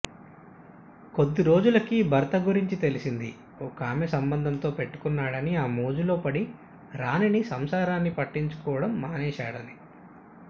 కొద్దీ రోజులకి భర్త గురించి తెలిసింది ఒకామెతో సంబంధం పెట్టుకుని ఆ మోజులో పడి రాణిని సంసారాన్ని పట్టించుకోవడం మానేశాడని